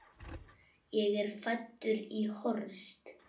Ég er fæddur í Horst.